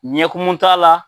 Ɲɛ kumu t'a la,